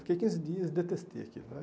Fiquei quinze dias e detestei aquilo.